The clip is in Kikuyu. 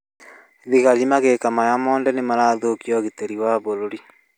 Thigari magĩka maya mothe nĩ marathũkia ũgitĩri wa bũrũri